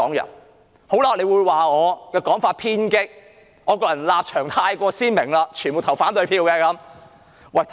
有些人會認為我的講法偏激，因為我的立場過於鮮明，只會投反對票。